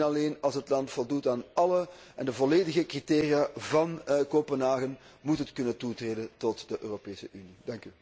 Enkel en alleen als het land voldoet aan alle volledige criteria van Kopenhagen, moet het kunnen toetreden tot de Europese Unie.